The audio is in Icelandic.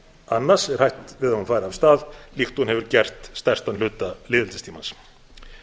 annars er hætt við að hún fari af stað líkt og hún hefur gert stærstan hluta lýðveldistímans